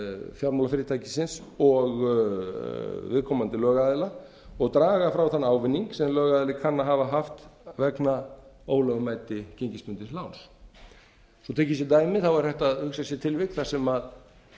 fjármálafyrirtækisins og viðkomandi lögaðila og draga frá þann ávinning sem lögaðili kann að hafa haft vegna ólögmæti gengisbundins láns svo tekið sé dæmi er hægt að hugsa sér tilvik þar sem